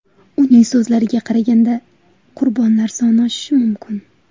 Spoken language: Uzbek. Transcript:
Uning so‘zlariga qaraganda, qurbonlar soni oshishi mumkin.